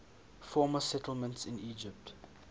former settlements in egypt